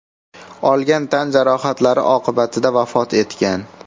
olgan tan jarohatlari oqibatida vafot etgan.